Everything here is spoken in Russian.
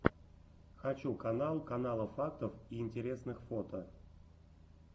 хочу канал канала фактов и интересных фото